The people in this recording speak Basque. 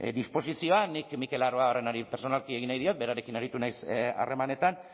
disposizioa nik mikel arruabarrenari pertsonalki egin nahi diot berarekin aritu naiz harremanetan